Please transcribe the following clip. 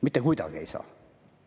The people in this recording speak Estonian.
Mitte kuidagi ei saa.